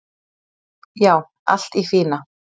"""Já, allt í fína."""